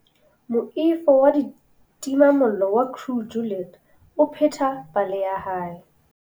Moifo wa ditimamollo wa Crew Juliet o pheta pale ya hae.